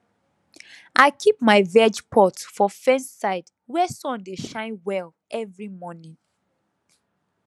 i keep my veg pot for fence side where sun dey shine well every morning